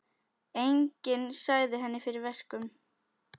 Enginn sagði henni fyrir verkum.